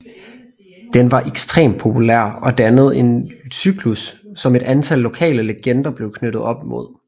Den var ekstremt populær og dannet en cyklus som et antal lokale legender blev knyttet op mod